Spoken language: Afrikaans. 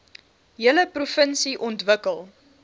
hele provinsie ontwikkel